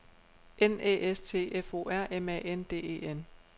N Æ S T F O R M A N D E N